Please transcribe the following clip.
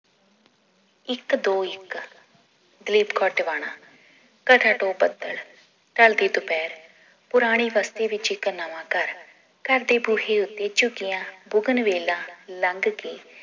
ਇਕ ਦੋ ਇਕ ਦਲੀਪ ਕੱਦ ਵਣਾ ਦੋ ਪੱਧਰ ਢਲਦੀ ਦੁਪਹਿਰ ਪੁਰਾਣੀ ਬਸਤੀ ਵਿਚ ਇਕ ਨਵਾਂ ਘਰ ਘਰ ਦੇ ਬੂਹੇ ਉੱਤੇ ਝੁਕੀਆਂ ਬੁਗਨ ਵੇਲਾ ਲੰਘ ਕੇ